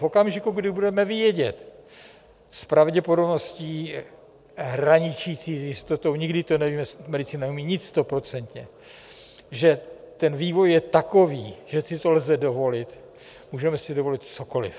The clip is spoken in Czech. V okamžiku, kdy budeme vědět s pravděpodobností hraničící s jistotou - nikdy to nevíme, medicína neumí nic stoprocentně - že ten vývoj je takový, že si to lze dovolit, můžeme si dovolit cokoliv.